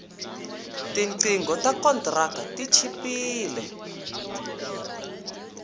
tinqingho ta kontraka ti chipile